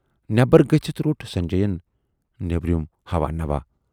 نٮ۪برَ گٔژھِتھ روٹ سنجے یَن نٮ۪بریُم ہَوا نوا۔